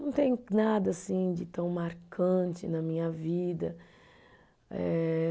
Não tem nada assim de tão marcante na minha vida. Eh